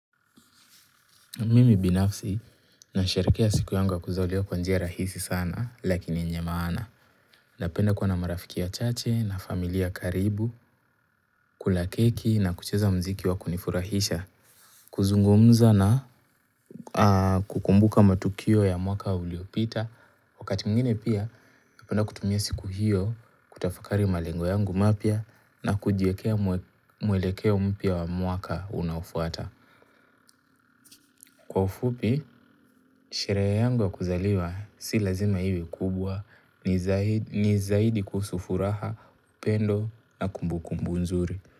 Mimi binafsi, nasharekea siku yangu ya kuzaliwa kwa njia rahisi sana, lakini yenye maana. Napenda kuwa na marafiki wachache, na familia karibu, kula keki, na kucheza mziki wa kunifurahisha, kuzungumza na kukumbuka matukio ya mwaka uliopita. Wakati mwingine pia, napenda kutumia siku hiyo, kutafakari malengo yangu mapya, na kujiekea mwelekeo mpya wa mwaka unaofuata. Kwa ufupi sherehe yangu ya kuzaliwa si lazima iwe kubwa ni zaidi kuhusu furaha upendo na kumbu kumbu nzuri.